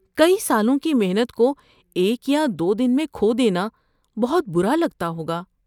کئی سالوں کی محنت کو ایک یا دو دن میں کھو دینا بہت برا لگتا ہوگا۔